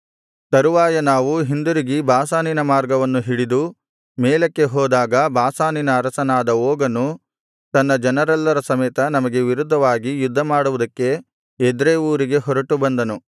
ತರುವಾಯ ನಾವು ಹಿಂದಿರುಗಿ ಬಾಷಾನಿನ ಮಾರ್ಗವನ್ನು ಹಿಡಿದು ಮೇಲಕ್ಕೆ ಹೋದಾಗ ಬಾಷಾನಿನ ಅರಸನಾದ ಓಗನು ತನ್ನ ಜನರೆಲ್ಲರ ಸಮೇತ ನಮಗೆ ವಿರುದ್ಧವಾಗಿ ಯುದ್ಧಮಾಡುವುದಕ್ಕೆ ಎದ್ರೈ ಊರಿಗೆ ಹೊರಟುಬಂದನು